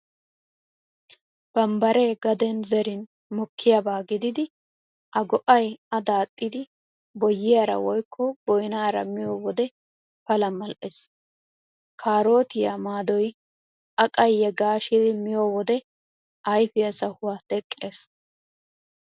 Bambbaree gaden zerin mookkiyaaba gididi a go'ay a daaxxidi boyyiyaara woykko boynaara miyo wode Pala mal'ees. Kaarootiyaa maadoy a qayye gaashidi miyo wode ayfiyaa sahuwaa teqqees.